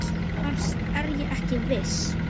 Annars er ég ekki viss.